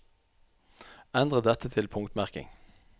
Endre dette til punktmerking